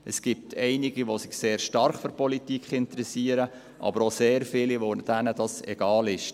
Es gibt einige, die sich sehr stark für Politik interessieren, aber auch sehr viele, denen es egal ist.